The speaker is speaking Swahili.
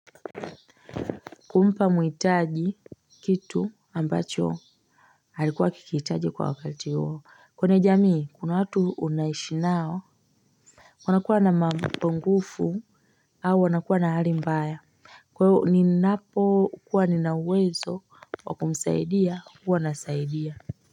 Kumpa mwitaji kitu ambacho alikuwa akikihitaji kwa wakati huo kwenye jamii kuna watu unaishi nao wanakuwa na mapungufu au wanakuwa na hali mbaya kwaio ninapokuwa nina uwezo wa kumsaidia huwa nasaidia.